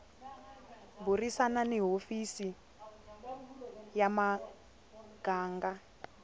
burisana ni hofisi ya muganga